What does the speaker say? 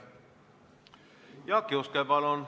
Jaak Juske, palun!